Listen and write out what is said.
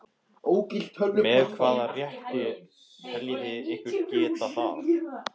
Með hvaða rétti teljið þið ykkur geta það?